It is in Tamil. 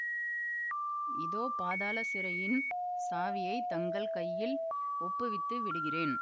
இதோ பாதாள சிறையின் சாவியைத் தங்கள் கையில் ஒப்புவித்து விடுகிறேன்